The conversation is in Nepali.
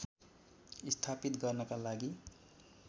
स्थापित गर्नका लागि